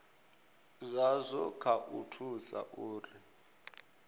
zwazwo kha u thusa uri